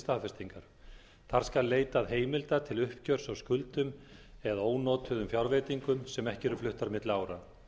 staðfestingar þar skal leitað heimilda til uppgjörs á skuldum eða ónotuðum fjárveitingum sem ekki eru fluttar milli ára